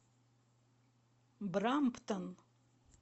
брамптон